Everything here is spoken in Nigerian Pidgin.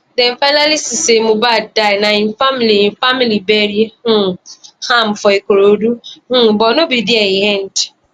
dem finally see say mohbad die na im family im family bury um am for ikorodu um but no be dia e end